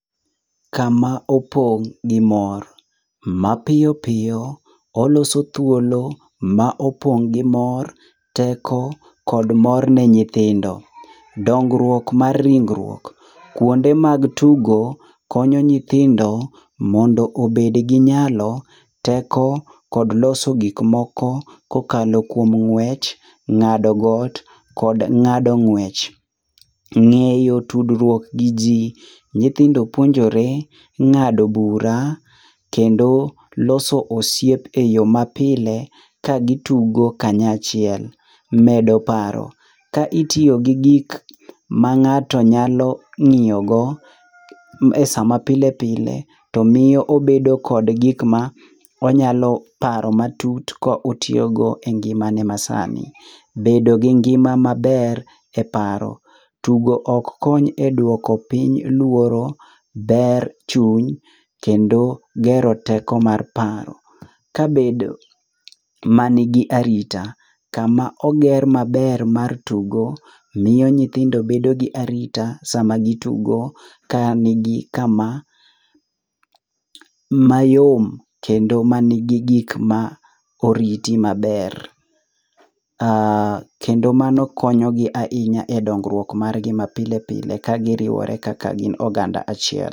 Kama opong' gi mor. Mapiyopiyo oloso thuolo ma opong' gi mor, teko kod mor ne nyithindo. Dongruok mar ringruok. Kuonde mag tugo konyo nyithindo mondo obed gi nyalo, teko kod loso gikmoko kokalo kuom ng'wech, ng'ado got kod ng'ado ng'wech. Ng'eyo tudruok gi ji. Nyithindo puonjore ng'ado bura kendo loso osiep e yo mapile kagitugo kanyachiel. Medo paro. Ka itiyo gi gik ma ng'ato nyalo ng'iyogo e sa mapile pile to miyo obedo kod gikma onyalo paro matut ka otiyogo e ngimane masano. Bedo gi ngima maber e paro. Tugo ok kony e dwoko piny luoro, ber chuny kendo gero teko mar paro. Kabedo manigi arita. Kama oger maber mar tugo miyo nyithindo bedo gi arita sama gitugo kanigi kama mayom kendo manigi gik ma oriti maber. Kendo mano konyogi ahinya e dongruok mar gi mapile pile kagiriwore kaka gin oganda achiel.